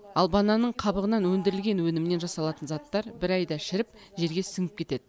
ал бананның қабығынан өндірілген өнімнен жасалатын заттар бір айда шіріп жерге сіңіп кетеді